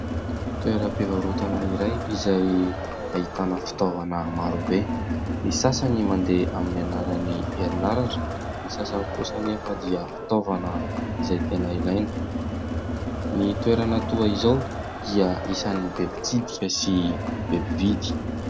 Toeram-pivarotana iray izay ahitana fitaovana maro be, ny sasany mandeha amin'ny alalany herinaratra, ny sasany kosa anefa dia fitaovana izay tena ilaina, ny toerana toa izao dia isan'ny be mpitsidika sy be mpividy.